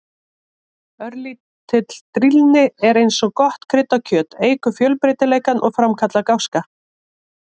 Örlítil drýldni er eins og gott krydd á kjöti, eykur fjölbreytileikann og framkallar gáska.